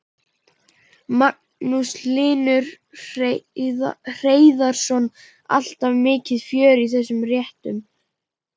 Magnús Hlynur Hreiðarsson: Alltaf mikið fjör í þessum réttum?